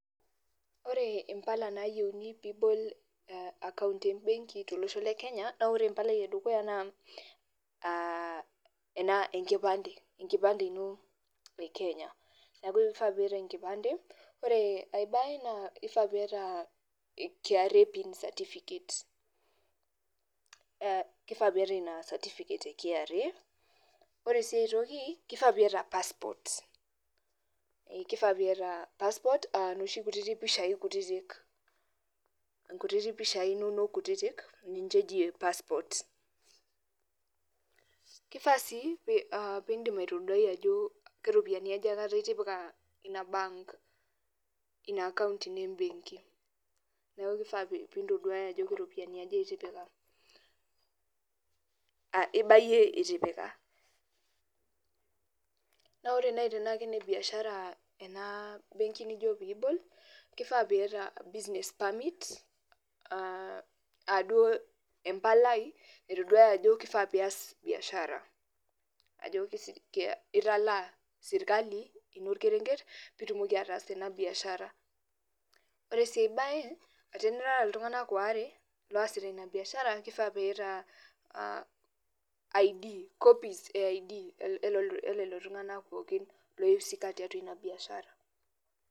Ore impala nayieuni pibol akaunt ebenki tolosho le Kenya, na ore empalai edukuya naa, ena enkipande, enkipande ino e Kenya. Neeku ifaa piata enkipande. Ore ai bae naa, kifaa piata KRA PIN certificate. Kifaa piata ina certificate e KRA. Ore si aitoki, kifaa piata passport. Kifaa piata passport, noshi kutitik pishai kutitik. Inkutitik pishai inonok kutitik ninye eji passport. Kifaa si pidim aitoduai ajo keropiyiani aja aikata itipika ina akaunt ino ebenki. Neeku kifaa pintoduaya ajo keropiyiani aja itipika. Ibayie itipika. Na ore nai tenaa kene biashara ena benki nijo pibol, kifaa piata business permit, aduo empalai naitoduaya ajo kifaa pias biashara. Ajo italaa sirkali ino orkerenket, pitumoki ataas biashara. Ore si ai bae, tenirara iltung'anak waare losita ina biashara, kifaa piata I'd, copies e I'd eleo tung'anak pookin loi husika tiatua inabiashara.